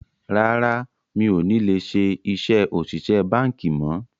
Rárá, mi ò ní lè ṣe iṣẹ́ òṣìṣẹ́ báńkì mọ̀